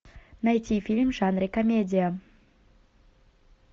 найти фильм в жанре комедия